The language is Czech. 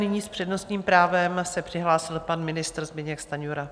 Nyní s přednostním právem se přihlásil pan ministr Zbyněk Stanjura.